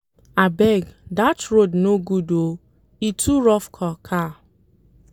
Abeg dat road no good o, e too rough for car.